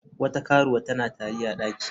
Wata karuwa tana tari a daki.